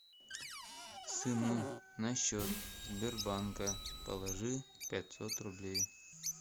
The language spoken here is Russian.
сыну на счет сбербанка положи пятьсот рублей